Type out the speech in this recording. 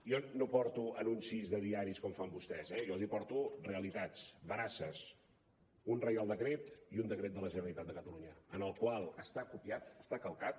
jo no porto anuncis de diaris com fan vostès eh jo els porto realitats veraces un reial decret i un decret de la generalitat de catalunya el qual està copiat està calcat